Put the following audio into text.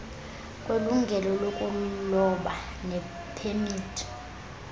kwelungelo lokuloba nepemithi